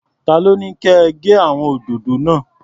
Ta ló ní kẹ gé àwọn òdòdó náà?